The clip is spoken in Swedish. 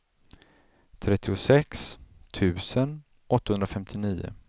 trettiosex tusen åttahundrafemtionio